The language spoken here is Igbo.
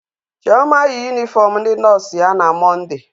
Chioma yi yunifọọm ndị nọọsụ ya na Mọnde.